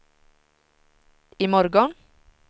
imorgon